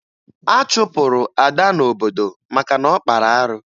A chụpụrụ Ada n'obodo maka na ọ kpara arụ